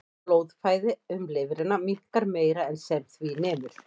Blóðflæði um lifrina minnkar meira en sem því nemur.